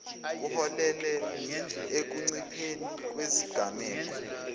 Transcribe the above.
kuholele ekuncipheni kwezigameko